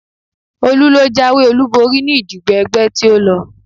Olú ló jáwé olúborí ní ìdìbò ẹgbẹ́ tí ó lọ